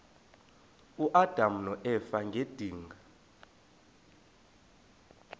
uadam noeva ngedinga